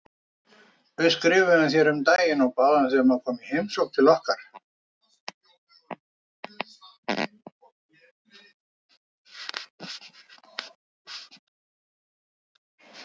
Við skrifuðum þér um daginn og báðum þig um að koma í heimsókn til okkar.